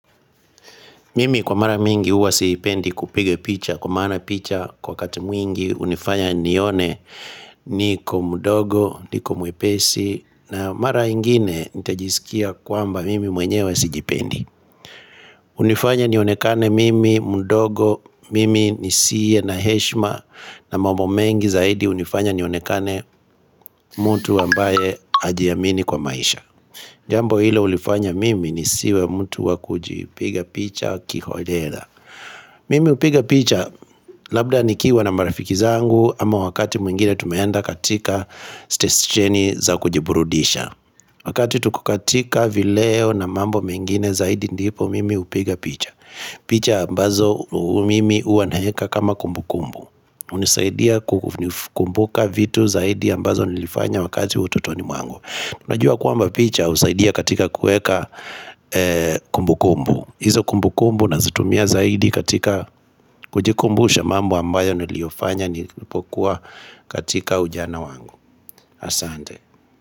Mimi kwa mara mingi huwa siipendi kupiga picha kwa maana picha kwa wakata mwingi hunifanya nione niko mdogo niko mwepesi na mara ingine nitajisikia kwamba mimi mwenye wa sijipendi unifanya nionekane mimi mdogo mimi nisiye na heshima na mambo mengi zaidi hunifanya nionekane mtu ambaye hajiamini kwa maisha Jambo hilo hulifanya mimi ni siwe mtu wakujipiga picha kiholela Mimi hupiga picha labda nikiwa na marafiki zangu ama wakati mwingine tumeenda katika stescheni za kujiburudisha Wakati tuko katika vileo na mambo mengine zaidi ndipo mimi hupiga picha picha ambazo mimi huwa naweka kama kumbukumbu hunisaidia kukumbuka vitu zaidi ambazo nilifanya wakati wa utotoni mwangu Unajua kwamba picha usaidia katika kueka kumbukumbu hizo kumbukumbu nazitumia zaidi katika kujikumbusha mambo ambayo niliyofanya nilipokuwa katika ujana wangu Asante.